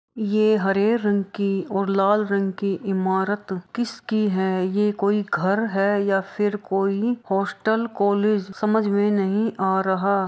ये हरे रंग की और लाल रंग की इमारत किस की है ये कोई घर है या फिर कोई हॉस्टल कॉलेज समझ में नहीं आ रहा --